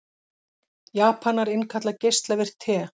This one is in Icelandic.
Japanar innkalla geislavirkt te